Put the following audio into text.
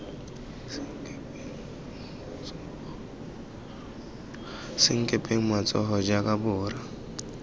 senkepeng lo tsoga jang borra